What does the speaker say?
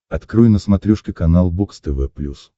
открой на смотрешке канал бокс тв плюс